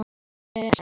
Og gengur vel.